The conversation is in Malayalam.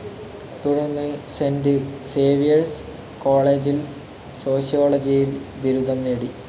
തുടർന്ന് സെന്റ് സേവ്യേർസ് കോളേജിൽ സോഷ്യോളജിയിൽ ബിരുദം നേടി.